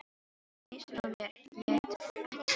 En hausinn á mér lét ekki staðar numið.